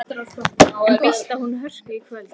En býst hún við hörku í kvöld?